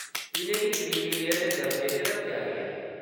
इʼनेंगी creamy layer दे दर्जे च रक्खेआ गेआ ऐ।